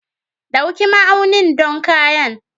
Ɗauki ma'aunin don kayan.